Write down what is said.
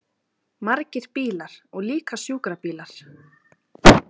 Margir bílar og líka sjúkrabílar.